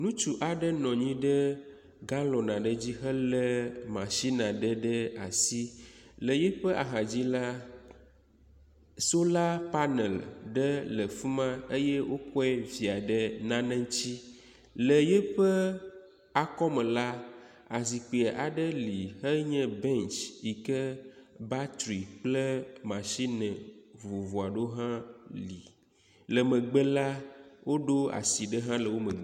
Ŋutsu aɖe nɔ anyi ɖe galɔn aɖe dzi helé matsin aɖe ɖe asi. Le yiƒe axadzi la, sola panela aɖe le afi ma, wokɔe via ɖe nane ŋuti, le yiƒe akɔme la, azikpui aɖe li enye bɛntsi yike batri kple matsine vovovo aɖewo hã li, le yeƒe megbe la, woɖo asi hã ɖe ahã le…